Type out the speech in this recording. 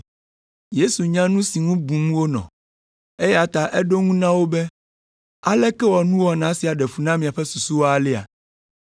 Yesu nya nu si ŋu bum wonɔ, eya ta eɖo ŋu na wo be, “Aleke wɔ nuwɔna sia ɖe fu na miaƒe susuwo alea?